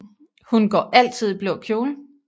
Hun går altid i blå kjole